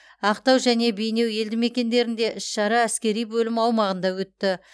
ақтау және бейнеу елдімекендерінде іс шара әскери бөлім аумағында өтті